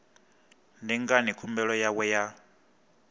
ndi ngani khumbelo yawe ya